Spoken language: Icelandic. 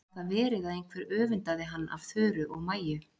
Gat það verið að einhver öfundaði hann af Þuru og Maju?